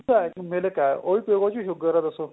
ਦੁੱਧ ਏ milk ਏ ਉਹਦੇ ਚ ਈ sugar ਏ ਦੱਸੋ